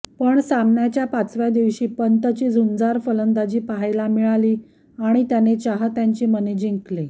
पण सामन्याच्या पाचव्या दिवशी पंतची झुंजार फलंदाजी पाहायला मिळाली आणि त्याने चाहत्यांची मने जिंकली